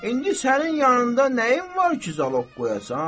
İndi sənin yanında nəyim var ki, zaloq qoyasan?